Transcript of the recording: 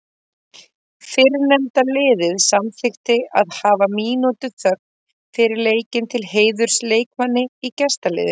Fyrrnefnda liðið samþykkti að hafa mínútu þögn fyrir leikinn til heiðurs leikmanni í gestaliðinu.